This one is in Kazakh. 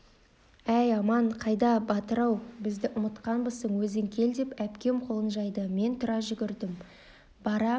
әй аман қайда батыр-ау бізді ұмытқанбысың өзің кел деп әпкем қолын жайды мен тұра жүгірдім бара